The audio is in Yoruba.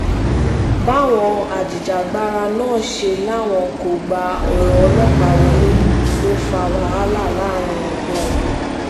báwọn ajìjàgbara náà ṣe láwọn kò gba ọ̀rọ̀ ọlọ́pàá wọlé ló fa wàhálà láàrin wọn